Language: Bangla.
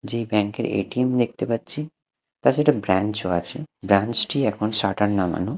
যে ব্যাংক -এর এ_টি_এম দেখতে পারছি তা ছাড়া একটা ব্র্যাঞ্চ -ও আছে ব্র্যাঞ্চ -টি এখন শাটার নামানো।